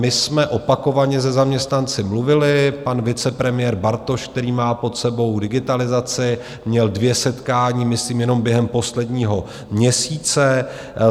My jsme opakovaně se zaměstnanci mluvili, pan vicepremiér Bartoš, který má pod sebou digitalizaci, měl dvě setkání, myslím jenom během posledního měsíce.